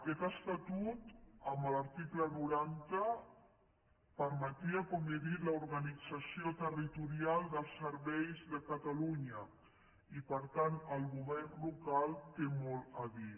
aquest estatut amb l’article noranta permetia com he dit l’organització territorial dels serveis de catalunya i per tant el govern local hi té molt a dir